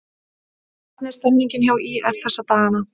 Hvernig er stemmningin hjá ÍR þessa dagana?